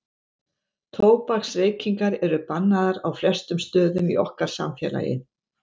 tóbaksreykingar eru bannaðar á flestum stöðum í okkar samfélagi